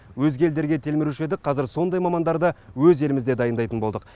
өзге елдерге телміруші едік қазір сондай мамандарды өз елімізде дайындайтын болдық